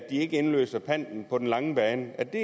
ikke indløser panten på den lange bane er det